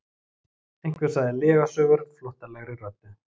Einhver sagði lygasögur flóttalegri röddu.